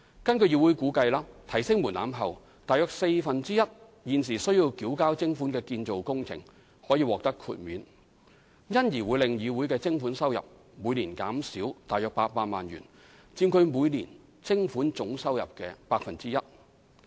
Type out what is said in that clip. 根據議會估計，提高門檻後，約四分之一現時須繳交徵款的建造工程可獲豁免，因而會令議會的徵款收入每年減少約800萬元，佔其每年徵款總收入的 1%。